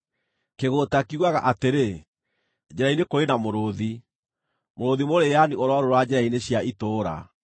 Kĩgũũta kiugaga atĩrĩ, “Njĩra-inĩ kũrĩ na mũrũũthi, mũrũũthi mũrĩĩani ũrorũũra njĩra-inĩ cia itũũra!”